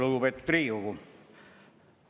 Lugupeetud Riigikogu!